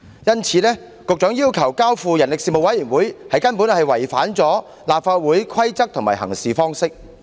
因此，局長要求把《條例草案》交付人力事務委員會處理，根本是違反了立法會的規則及行事方式。